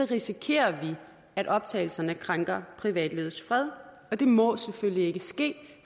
risikerer vi at optagelserne krænker privatlivets fred og det må selvfølgelig ikke ske